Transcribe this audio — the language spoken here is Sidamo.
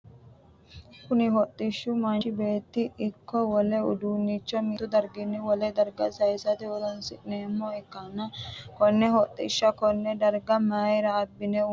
Kunni hodhishi manchi Betto iko wole uduunicho mittu dargunni wole darga sayisate horoonsi'nemo ikanna konne hodhisha koone darga mayira abine uurinsoonni?